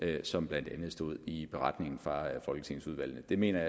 det som blandt andet stod i beretningen fra folketingsudvalgene det mener